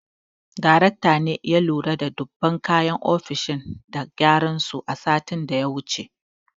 Daraktan ne ya lura da duba kayan ofishin da gyaran su satin da ya wuce.